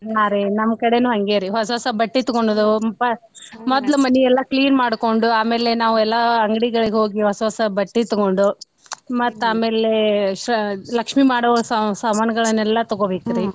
ಹಾ ರೀ ನಮ್ಮ್ ಕಡೆೇನೂ ಹಂಗೆ ರೀ ಹೊಸ್ ಹೊಸಾ ಬಟ್ಟಿ ತಗೊಳೋದು ಪ್~ ಮೊದ್ಲ್ ಮನಿ ಎಲ್ಲಾ clean ಮಾಡಕೊಂಡು ಆಮೇಲೆ ನಾವೆಲ್ಲಾ ಅಂಗ್ಡಿಗಳಿಗ ಹೋಗಿ ಹೊಸ್ಸ ಹೊಸಾ ಬಟ್ಟಿ ತಗೊಂಡು ಮತ್ತ್ ಆಮೇಲೆ ಸ್~ ಲಕ್ಷ್ಮೀ ಮಾಡೋ ಸ್~ ಸಮಾನ್ ಗಳೆಲ್ಲಾ ತಗೋಬೇಕ್ರಿ.